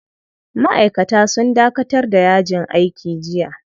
Ma'aikata sun dakatar da yajin aiki jiya.